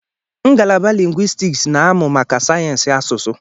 Ngalaba lingwistiks na-amụ maka sayensị asụsụ